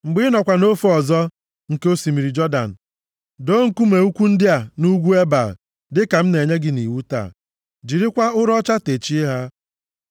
Mgbe ị nọkwa nʼofe ọzọ nke osimiri Jọdan, doo nkume ukwu ndị a nʼugwu Ebal, dịka m na-enye gị nʼiwu taa. Jirikwa ụrọ ọcha techie ha.